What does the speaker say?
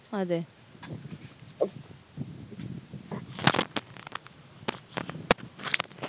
അതെ